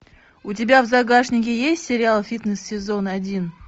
у тебя в загашнике есть сериал фитнес сезон один